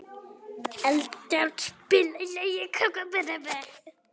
Eldjárn, spilaðu lagið „Krómkallar“.